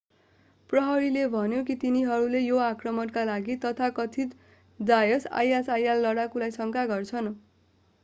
प्रहरीले भन्यो कि तिनीहरूले यो आक्रमणका लागि तथाकथित डाएस isil लडाकुलाई शङ्का गर्छन्।